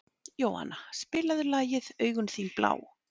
Jóanna, spilaðu lagið „Augun þín blá“.